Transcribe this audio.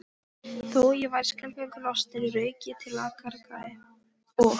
Þó ég væri skelfingu lostinn rauk ég til og gargaði